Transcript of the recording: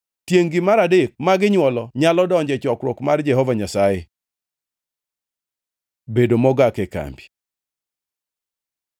Tiengʼ-gi mar adek ma ginywolo nyalo donjo e chokruok mar Jehova Nyasaye. Bedo mogak e kambi